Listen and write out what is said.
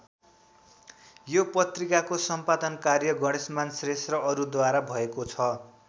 यो पत्रिकाको सम्पादन कार्य गणेशमान श्रेष्ठ र अरूद्वारा भएको छ।